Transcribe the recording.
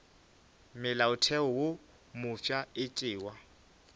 molaotheo wo mofsa e tšewa